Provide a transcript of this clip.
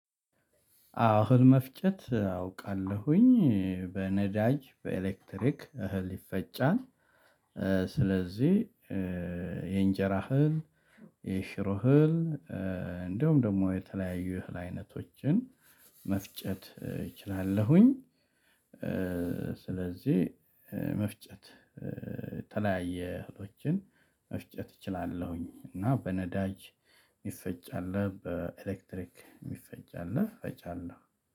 አዎ እህል መፍጨት አውቃለሁኝ በነዳጅ በኤሌክትሪክ እህል ይፈጫል። ስለዚህ የእንጀራ ህል የሽሮ ህል እንደውም ደግሞ የተለያዩ እህል አይነቶችን መፍጨት እችላለሁኝ። ስለዚህ መፍጨት የተለያየ እህሎችን መፍጨት እችላለሁኝ። እና በነዳጅ ሚፈጭ አለ በኤሌክትሪክ የሚፈጭ አለ። ፈጫለሁ